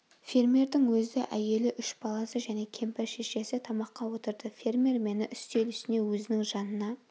фермердің өзі әйелі үш баласы және кемпір шешесі тамаққа отырды фермер мені үстел үстіне өзінің жанына